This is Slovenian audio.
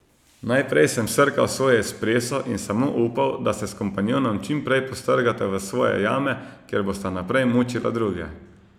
Naprej sem srkal svoj espreso in samo upal, da se s kompanjonom čim prej postrgata v svoje jame, kjer bosta naprej mučila druge.